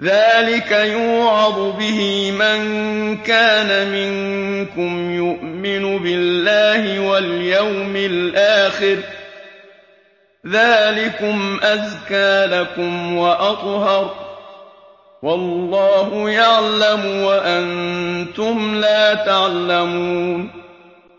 ذَٰلِكَ يُوعَظُ بِهِ مَن كَانَ مِنكُمْ يُؤْمِنُ بِاللَّهِ وَالْيَوْمِ الْآخِرِ ۗ ذَٰلِكُمْ أَزْكَىٰ لَكُمْ وَأَطْهَرُ ۗ وَاللَّهُ يَعْلَمُ وَأَنتُمْ لَا تَعْلَمُونَ